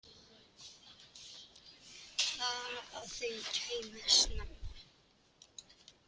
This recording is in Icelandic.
Bara að þau kæmu snemma.